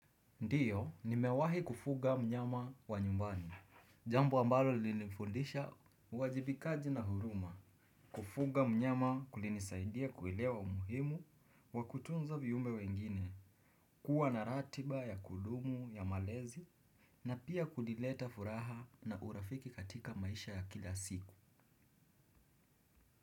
Ndiyo, nimewahi kufuga mnyama wa nyumbani, jambo ambalo lilinifundisha uwajibikaji na huruma, kufuga mnyama kulinisaidia kuelewa umuhimu, wa kutunza viumbe wengine, kuwa na ratiba, ya kudumu, ya malezi, na pia kulileta furaha na urafiki katika maisha ya kila siku.